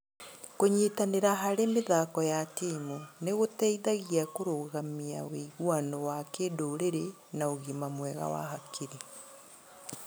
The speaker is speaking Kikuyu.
Kũnyitanĩra harĩ mĩthako ya timu nĩ gũteithagia kũrũgamia wĩguano wa kĩndũrĩrĩ na ũgima mwega wa hakiri.